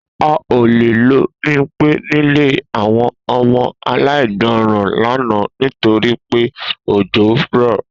A ò lè lo̩ wo Bímpé nílé àwo̩n o̩mo̩ aláìgbó̩ran lánàá nítorí pé òjó rò̩